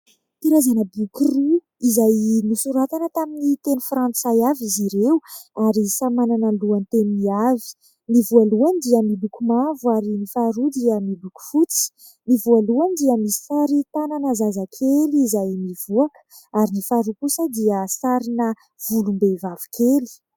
karazana boky roa izay soratana tamin'ny teny frantsay avy izy ireo ary samy manana ny lohan- teniny avy , ny voalohany dia boky mavo ary ny faharoa dia boko fotsy ;ny voalohany dia sary tanana zazakely izay nivoaka ary ny faharoa kosa dia sarina volom-behivavekely